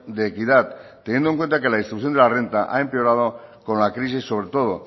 de equidad teniendo en cuenta que la distribución de la renta ha empeorado con la crisis sobre todo